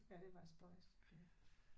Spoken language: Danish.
Ja det var spøjst ja